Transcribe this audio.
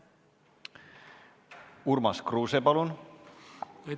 Urmas Kruuse, palun!